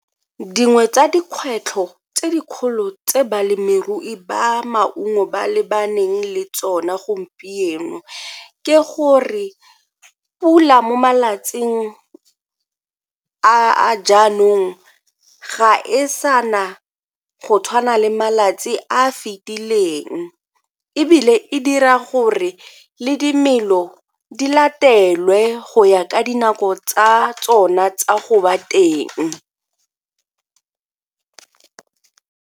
Dingwe tsa dikgwetlho tse dikgolo tse balemirui ba maungo ba lebaneng le tsone gompieno ke gore pula mo malatsing a jaanong ga e sa na go tshwana le malatsi a a fetileng ebile e dira gore le dimelo di latelwe go ya ka dinako tsa tsona tsa go ba teng.